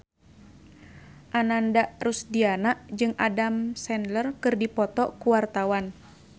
Ananda Rusdiana jeung Adam Sandler keur dipoto ku wartawan